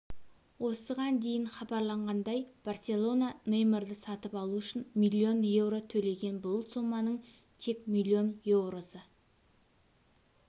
осыған дейін хабарланғандай барселона неймарды сатып алу үшін миллион еуро төлеген бұл соманың тек миллион еуросы